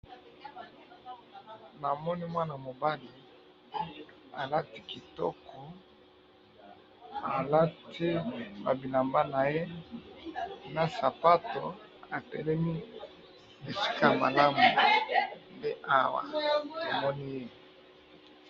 Namoni mwana mobali alati kitoko, alati ba bilamba naye na sapato, atelemi esika malamu, nde awa tomoni ye.